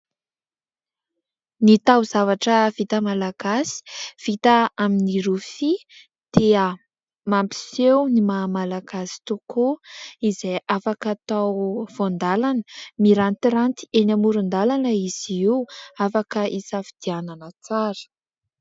Ny tao-zavatra vita Malagasy, vita amin'ny rofia dia mampiseho ny maha Malagasy tokoa izay afaka atao Voandalana. Mirantiranty eny amoron-dàlana izy io, afaka isafidianana tsara.